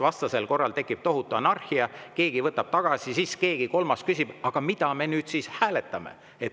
Vastasel korral tekib tohutu anarhia, keegi võtab tagasi ja siis keegi kolmas küsib: "Mida me nüüd siis hääletame?